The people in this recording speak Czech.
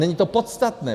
Není to podstatné.